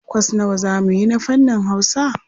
Kwas nawa za mu yi na fannin Hausa?